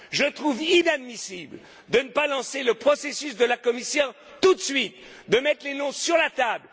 Copenhague. Je trouve inadmissible de ne pas lancer le processus de la Commission tout de suite, en mettant les noms sur